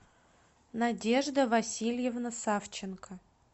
надежда васильевна савченко